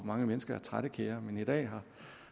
mange mennesker trættekære men i dag